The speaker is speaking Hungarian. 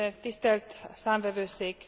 Tisztelt Számvevőszék!